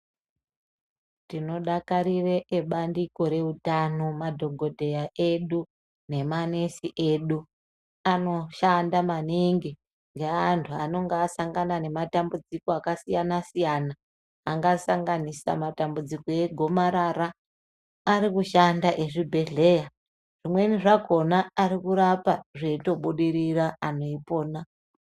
Tinodakarire ebandiko reutano madhokodheya edu nemanesi edu anoshanda maningi neantu anonga asangana nematambudziko akasiyana siyana angasanganisa matambudziko egomarara arikushanda ezvibhedhlera zvimweni zvakona arikurapa zveitobudirira antu eipona.